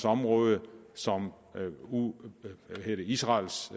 område som israels